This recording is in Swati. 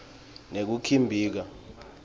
nekukhibika